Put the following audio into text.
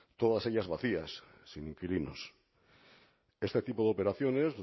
todas ellas vacías sin inquilinos este tipo de operaciones